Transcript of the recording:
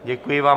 Děkuji vám.